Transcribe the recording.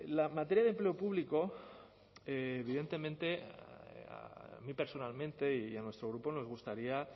la materia de empleo público evidentemente a mí personalmente y a nuestro grupo nos gustaría